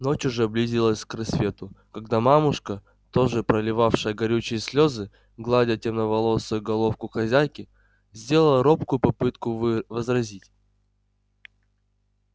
ночь уже близилась к рассвету когда мамушка тоже проливавшая горючие слезы гладя темноволосую головку хозяйки сделала робкую попытку вы возразить